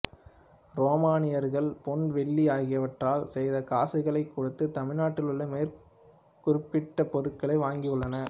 உரோமானியர்கள் பொன் வெள்ளி ஆகியவற்றால் செய்த காசுகளைக் கொடுத்து தமிழ்நாட்டிலுள்ள மேற்குறிப்பிட்ட பொருட்களை வாங்கியுள்ளனர்